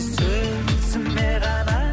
сөзіме ғана